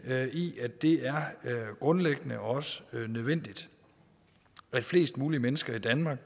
i at det er grundlæggende og også nødvendigt at flest mulige mennesker i danmark